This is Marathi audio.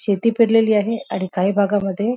शेती पेरलेली आहे आणि काही भागामध्ये--